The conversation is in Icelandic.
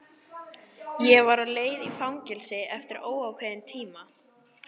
Ég var á leið í fangelsi eftir óákveðinn tíma.